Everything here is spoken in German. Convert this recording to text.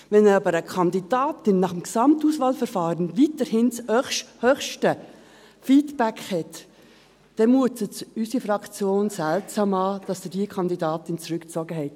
Wenn aber eine Kandidatin nach dem Gesamtauswahlverfahren weiterhin das höchste Feedback hat, dann mutet es unsere Fraktion seltsam an, dass Sie diese Kandidatin zurückgezogen haben.